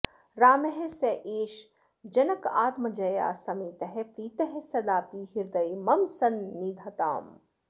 रामः स एष जनकात्मजया समेतः प्रीतः सदापि हृदये मम सन्निधत्ताम्